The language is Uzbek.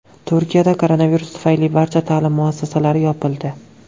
Turkiyada koronavirus tufayli barcha ta’lim muassasalari yopildi.